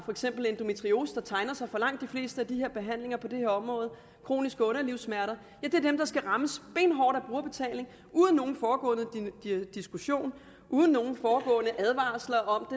endometriose som tegner sig for langt de fleste af de behandlinger på det her område kroniske underlivssmerter og som skal rammes benhårdt af brugerbetaling uden nogen forudgående diskussion uden nogen forudgående advarsel om